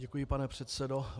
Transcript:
Děkuji, pane předsedo.